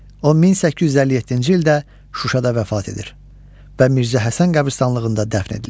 O 1857-ci ildə Şuşada vəfat edir və Mirzə Həsən qəbiristanlığında dəfn edilir.